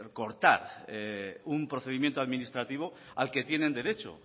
cortar un procedimiento administrativo al que tienen derecho